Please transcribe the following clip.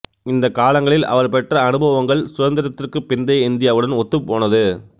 இந்த காலங்களில் அவர் பெற்ற அனுபவங்கள் சுதந்திரத்திற்குப் பிந்தைய இந்தியாவுடன் ஒத்துப்போனது